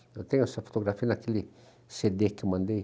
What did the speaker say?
Eu tenho essa fotografia naquele cê dê que eu mandei.